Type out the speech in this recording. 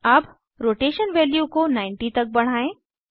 अब rotation value को 90 तक बढ़ाएं